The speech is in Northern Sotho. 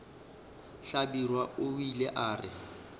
hlabirwa o ile a re